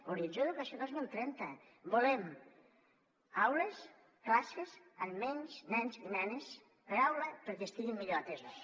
horitzó educació dos mil trenta volem aules classes amb menys nens i nenes per aula perquè estiguin millor atesos